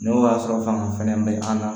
N'o y'a sɔrɔ fanga fɛnɛ bɛ an na